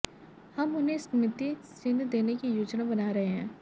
हम उन्हें स्मृति चिह्न देने की योजना बना रहे हैं